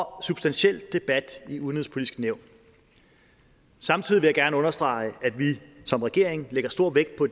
substantiel debat i det udenrigspolitiske nævn samtidig vil jeg gerne understrege at vi som regering lægger stor vægt på